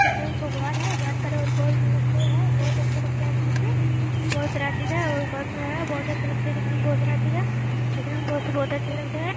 बहुत अच्छा लगता है दिखने में। बहुत सारा चीज है और घर मे है। बहुत ही अच्छे लगते है दिखने में। बहुत सारा चीज है। दिखने में बहुत अच्छे लगते हैं।